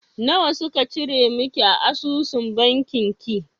Nawa suka cire miki a asusun banki ki?